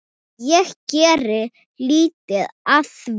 Ég geri lítið af því.